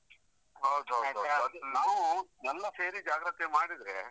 ಹೌದು ಹೌದು ಹೌದು ಹೌದು. ಅದು ನಾವು ಎಲ್ಲ ಸೇರಿ ಜಾಗ್ರತೆ ಮಾಡಿದ್ರೆ,